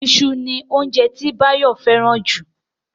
Iṣu ni óunjẹ tí Báyọ̀ fẹ́ràn jù